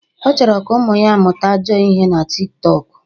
..ọ chọrọ ka ụmụ ya mụta ajọ ihe na Tik tọk